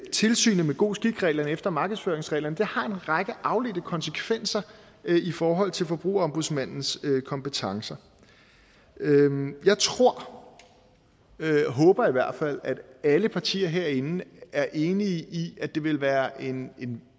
tilsynet med god skik reglerne efter markedsføringsreglerne har en række afledte konsekvenser i forhold til forbrugerombudsmandens kompetencer jeg tror eller jeg håber i hvert fald at alle partier herinde er enige i at det ville være en en